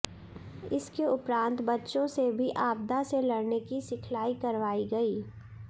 इसके उपरांत बच्चों से भी आपदा से लड़ने की सिखलाई करवाई गई